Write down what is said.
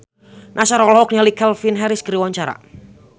Nassar olohok ningali Calvin Harris keur diwawancara